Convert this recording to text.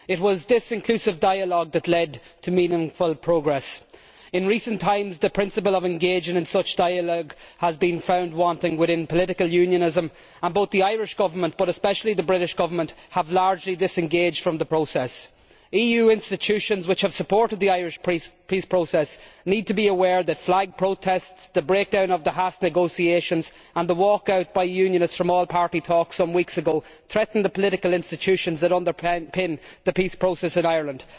It was this inclusive dialogue that led to meaningful progress. In recent times, the principle of engaging in such dialogue has been found wanting within political unionism, and both the Irish Government and the British Government, but especially the latter, have largely disengaged from the process. EU institutions which have supported the Irish peace process need to be aware that flag protests, the breakdown of the Haas negotiations and the walkout by unionists from all party talks some weeks ago threaten the political institutions that underpin the peace process in Ireland.